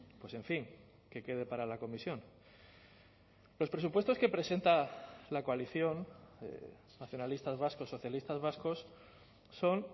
pues en fin que quede para la comisión los presupuestos que presenta la coalición nacionalistas vascos socialistas vascos son